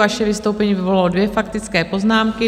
Vaše vystoupení vyvolalo dvě faktické poznámky.